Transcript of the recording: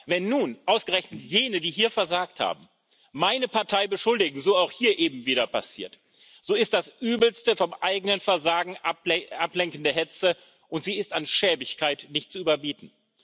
Wenn nun ausgerechnet jene, die hier versagt haben, meine Partei beschuldigen so auch hier eben wieder passiert so ist das übelste, vom eigenen Versagen ablenkende Hetze, und sie ist an Schäbigkeit nicht zu überbieten.